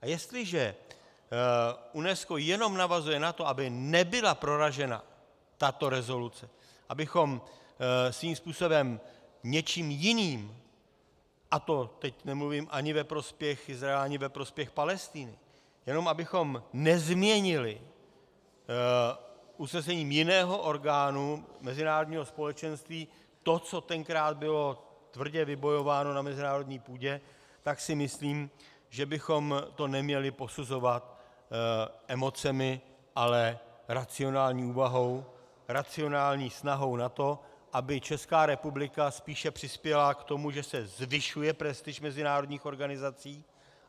A jestliže UNESCO jenom navazuje na to, aby nebyla proražena tato rezoluce, abychom svým způsobem něčím jiným, a to teď nemluvím ani ve prospěch Izraele, ani ve prospěch Palestiny, jenom abychom nezměnili usnesením jiného orgánu mezinárodního společenství to, co tenkrát bylo tvrdě vybojováno na mezinárodní půdě, tak si myslím, že bychom to neměli posuzovat emocemi, ale racionální úvahou, racionální snahou na to, aby Česká republika spíše přispěla k tomu, že se zvyšuje prestiž mezinárodních organizací.